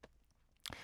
TV 2